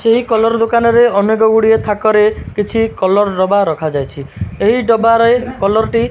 ସେହି କଲର୍ ଦୋକାନରେ ଅନେକ ଗୁଡ଼ିଏ ଥାକରେ କିଛି କଲର୍ ଡବା ରଖା ଯାଇଛି ଏହି ଡବାରେ କଲର୍ ଟି --